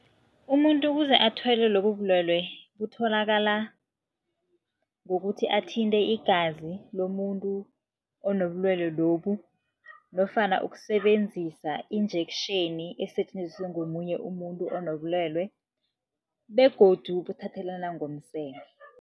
Umuntu ukuze athwele lobu bulwelwe butholakala ngokuthi athinte igazi lomuntu onobulwelwe lobu nofana ukusebenzisa injection esetjenziswe ngomunye umuntu onobulwelwe begodu buthathelana ngomseme.